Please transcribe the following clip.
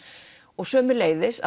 og sömuleiðis